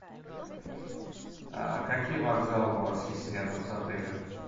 какие вокзалы у вас есть рядом с отелем